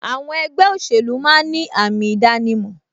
Àwọn ẹgbẹ́ òṣèlú máa ń ní àmì ìdánimọ̀